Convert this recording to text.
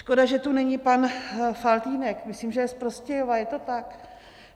Škoda, že tu není pan Faltýnek, myslím, že je z Prostějova, je to tak?